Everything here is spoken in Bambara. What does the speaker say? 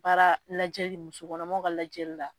Baara lajɛli, musokɔnɔmaw ka lajɛli la.